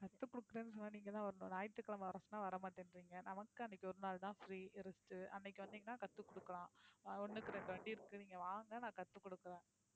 கத்துக் குடுக்குறேன்னு சொன்னா நீங்க தான் வரணும். ஞாயித்துகிழமை வர சொன்னா வர மாட்டேன்றீங்க நமக்கு அன்னைக்கு ஒரு நாள் தான் free rest அன்னைக்கு வந்தீங்கன்னா கத்துக் குடுக்கலாம். ஒண்ணுக்கு ரெண்டு வண்டி இருக்கு நீங்க வாங்க நான் கத்துக் குடுக்குறேன்.